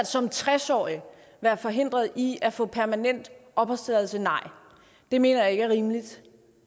som tres årig være forhindret i at få permanent opholdstilladelse nej det mener jeg ikke er rimeligt